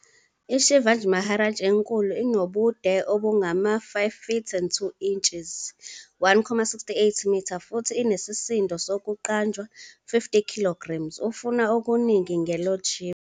IShivaji Maharaj enkulu inobude obungama-5ft and 2 inches, 1.68m, futhi inesisindo sokuqanjwa. 50kgs. ufuna okuningi nge-Lord shiva